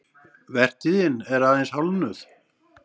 Vertíðin er aðeins hálfnuð